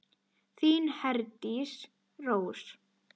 Þín Herdís Rós.